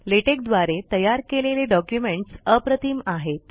LaTeX द्वारे तयार केलेले डॉक्युमेंट्स अप्रतिम आहेत